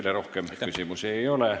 Teile rohkem küsimusi ei ole.